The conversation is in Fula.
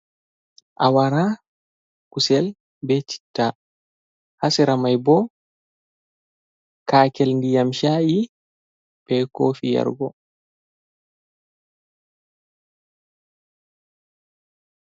Awara, kusel, be citta. Ha sera mai bo kaakel ndiyam sha'i be kofi yargo.